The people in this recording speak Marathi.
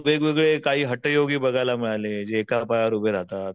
वेगवेगळे काही हटयोगी बघायला मिळाले जे एका पायावर उभे राहतात.